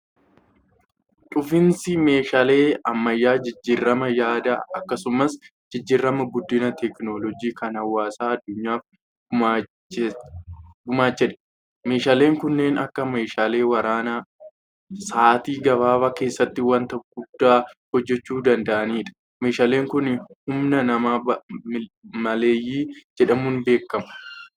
Dhufiinsi meeshaalee ammayyaa jijjiirama yaadaa akkasumas jijjiirama guddina teekinooloojii kan hawaasa addunyaaf gumaachedha. Meeshaaleen kanneen akka meeshaalee waraanaa Saatii gabaabaa keessatti waanta guddaa hojjechuu danda'anidha. Meeshaaleen kun humna nama maleeyyii jedhamuun beekamu.